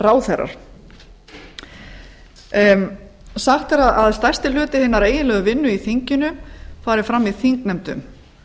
ráðherrar sagt er að stærsti hluti hinnar eiginlegu vinnu í þinginu fari fram í þingnefndum